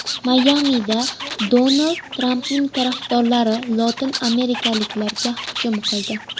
Mayamida Donald Trampning tarafdorlari lotin amerikaliklarga hujum qildi.